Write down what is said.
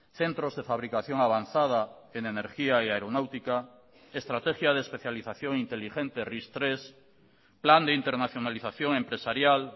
centros de fabricación avanzada en energía y aeronáutica estrategia de especialización inteligente ris tres plan de internacionalización empresarial